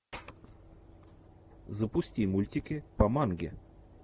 запусти мультики по манге